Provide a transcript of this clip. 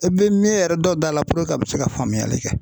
E bɛ min yɛrɛ dɔ da la a bɛ se ka faamuyali kɛ.